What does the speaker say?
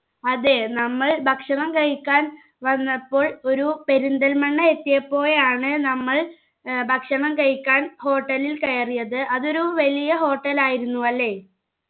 അതെ നമ്മൾ ഭക്ഷണം കഴിക്കാൻ വന്നപ്പോൾ ഒരു പെരിന്തൽമണ്ണ എത്തിയപ്പോഴാണ് നമ്മൾ ഏർ ഭക്ഷണം കഴിക്കാൻ hotel ൽ കയറിയത് അതൊരു വലിയ hotel ആയിരുന്നു അല്ലെ